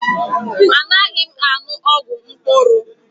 Anaghị m aṅụ ọgwụ mkpụrụ.